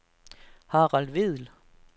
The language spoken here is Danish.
Harald Vedel